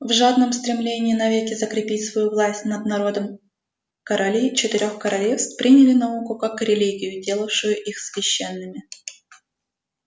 в жадном стремлении навеки закрепить свою власть над народом короли четырёх королевств приняли науку как религию делавшую их священными